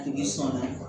Tigi sɔnna